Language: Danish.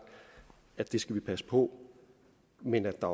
at det skal vi passe på men at der